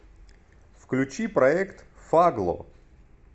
включи проект фагло